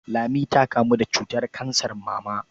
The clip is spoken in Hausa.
Lami ta kamu da cutar kansar mama.